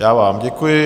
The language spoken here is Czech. Já vám děkuji.